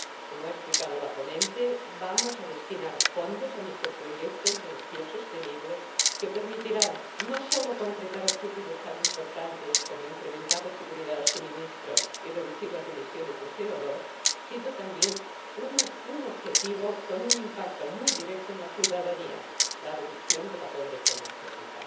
Como ha explicado la ponente, vamos a destinar fondos a microproyectos de energía sostenible que permitirán no sólo concretar objetivos tan importantes como el incremento de la seguridad del suministro y la reducción de las emisiones de CO 2 sino también alcanzar un objetivo con un impacto muy directo en la ciudadanía la reducción de la pobreza energética.